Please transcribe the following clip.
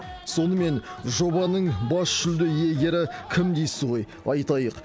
сонымен жобаның бас жүлде иегері кім дейсіз ғой айтайық